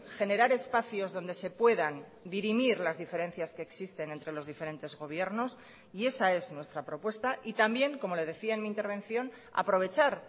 generar espacios donde se puedan dirimir las diferencias que existen entre los diferentes gobiernos y esa es nuestra propuesta y también como le decía en mi intervención aprovechar